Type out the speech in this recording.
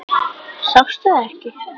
Sástu það ekki?